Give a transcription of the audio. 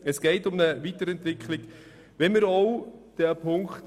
Es geht um eine Weiterentwicklung dieses Gesetzes.